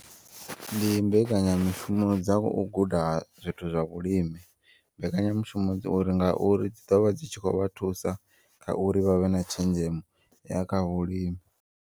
Ndi mbekanyamushumo dza uguda zwithu zwa vhulimi mbekanyamushumo dzo uri ngauri dzi ḓovha dzi tshi kho vha thusa kha uri vha vhe na tshenzhemo yakha vhulimi.